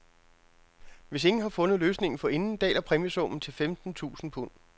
Hvis ingen har fundet løsningen forinden, daler præmiesummen til femten tusinde pund.